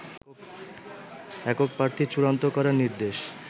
একক প্রার্থী চূড়ান্ত করার নির্দেশ